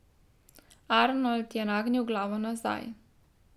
Arnold je nagnil glavo nazaj.